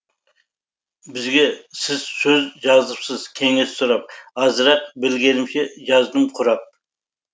бізге сіз сөз жазыпсыз кеңес сұрап азырақ білгенімше жаздым құрап